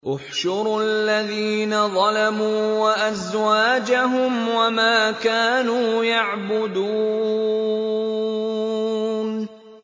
۞ احْشُرُوا الَّذِينَ ظَلَمُوا وَأَزْوَاجَهُمْ وَمَا كَانُوا يَعْبُدُونَ